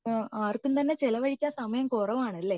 ആർക്കും തന്നെ ചിലവഴിക്കാൻ സമയം കുറവാണല്ലേ